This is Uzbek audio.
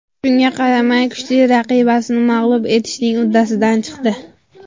Shunga qaramay, kuchli raqibasini mag‘lub etishning uddasidan chiqdi.